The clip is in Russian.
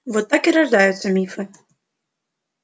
вот так и рождаются мифы